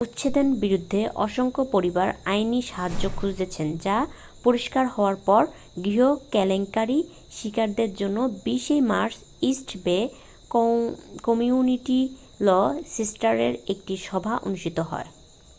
উচ্ছেদের বিরুদ্ধে অসংখ্য পরিবার আইনী সাহায্য খুঁজছে তা পরিষ্কার হওয়ার পর গৃহ কেলেঙ্কারির শিকারদের জন্য 20 মার্চ ইস্ট বে কমিউনিটি ল সেন্টারে একটি সভা অনুষ্ঠিত হয়